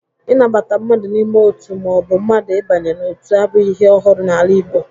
Ịnabata mmadụ n'ime Otu ma o bụ mmadụ ibanye n'otu abụghi ihe ọhụrụ n'ala Igbo